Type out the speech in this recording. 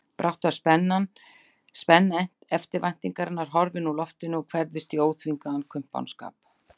Brátt var spenna eftirvæntingarinnar horfin úr loftinu og hverfðist í óþvingaðan kumpánskap.